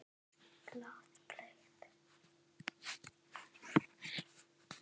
Blátt blek.